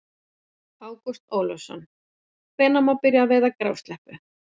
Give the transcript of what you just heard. Ágúst Ólafsson: Hvenær má byrja að veiða grásleppu?